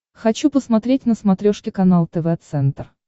хочу посмотреть на смотрешке канал тв центр